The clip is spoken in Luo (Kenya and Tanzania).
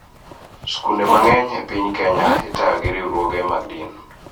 Skunde mang�eny e piny Kenya itayo gi riwruoge mag din.